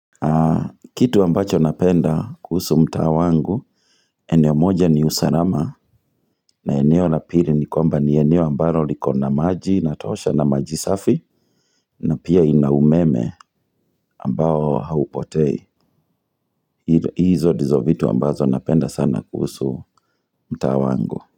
Kitu ambacho napenda kuhusu mtaa wangu eneo moja ni usalama na eneo la pili ni kwamba ni eneo ambalo liko na maji inatosha na maji safi na pia ina umeme ambao haupotei hizo ndizo vitu ambazo napenda sana kuhusu mtaa wangu.